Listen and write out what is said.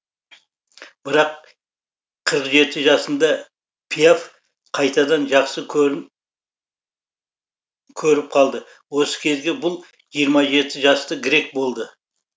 бірақ қырық жеті жасында пиаф қайтадан жақсы көрі көріп қалды осы кезге бұл жиырма жеті жасты грек болды